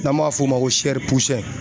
N'an b'a f'o ma ko